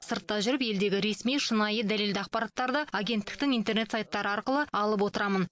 сыртта жүріп елдегі ресми шынайы дәлелді ақпараттарды агенттіктің интернет сайттары арқылы алып отырамын